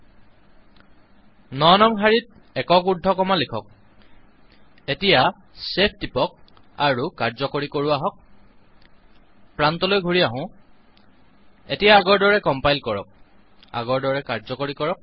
৯ নং শাৰীত একক উৰ্দ্ধকমা লিখক এতিয়া ছেভটিপক আৰু কাৰ্যকৰী কৰো আহক প্ৰান্তলৈ ঘূৰি আহক এতিয়া আগৰ দৰে কম্পাইল কৰক আগৰ দৰে কাৰ্যকৰী কৰক